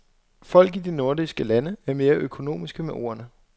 Folk i de nordiske lande er mere økonomiske med ordene.